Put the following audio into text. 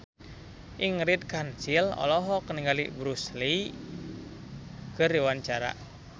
Ingrid Kansil olohok ningali Bruce Lee keur diwawancara